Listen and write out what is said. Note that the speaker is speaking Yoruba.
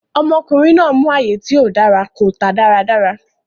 Ọmọkùnrin náà mú ààyè tí ò dára, kò tà dáradára.